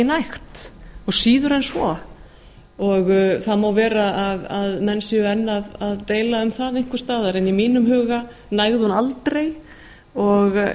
nægt og síður en svo það má vera að menn séu enn að deila um það einhvers staðar en í mínum huga nægði hún aldrei og